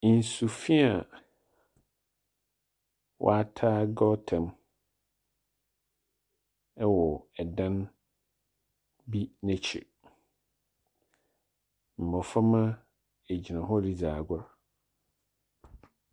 Nsufi a ɔataa gɔta mu wɔ dan bi n'ekyir. Mboframba gyina hɔ ridzi agor.